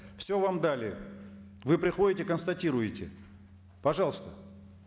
все вам дали вы приходите констатируете пожалуйста